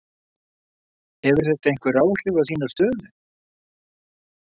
Hefur þetta einhver áhrif á þína stöðu?